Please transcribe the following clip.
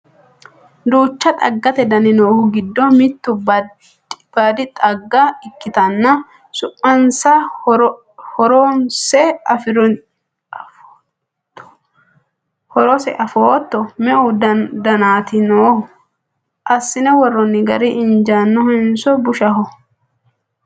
duucha xaggate dani noohu giddo mittu baadi xagga ikkitanna su'masenna horose afootto? me"u daniti no? assine worroonni gari injiinohenso bushaho?